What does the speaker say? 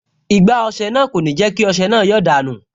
Igbá ọsẹ náà kò ní jẹ́ kí ọsẹ náà yọ́ dànù